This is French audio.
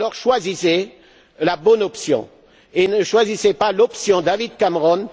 Alors choisissez la bonne option, ne choisissez pas l'option David Cameron